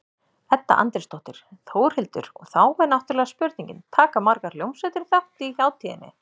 Edda Andrésdóttir: Þórhildur, og þá er náttúrulega spurningin, taka margar hljómsveitir þátt í hátíðinni?